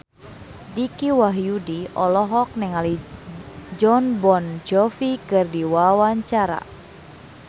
Dicky Wahyudi olohok ningali Jon Bon Jovi keur diwawancara